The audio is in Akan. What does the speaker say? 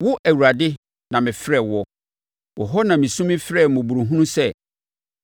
Wo, Awurade na mefrɛɛ woɔ; wo hɔ na mesu mesrɛɛ mmɔborɔhunu sɛ: